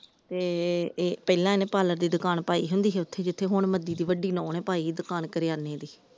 ਤੇ ਪਹਿਲਾ ਇਹਨੇ ਪਾਰਲਰ ਦੀ ਦੁਕਾਨ ਪਾਈ ਹੁੰਦੀ ਸੀ ਉੱਥੇ ਜਿੱਥੇ ਹੁਣ ਮੱਦੀ ਦੀ ਵੱਡੀ ਨੂੰਹ ਨੇ ਪਾਈ ਦੁਕਾਨ ਕਰਿਆਨੇ ਦੀ ।